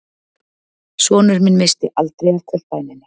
Sonur minn missti aldrei af kvöldbæninni